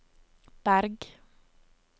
Berg